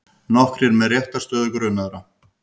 Nokkrir með réttarstöðu grunaðra